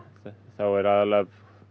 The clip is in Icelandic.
er aðallega að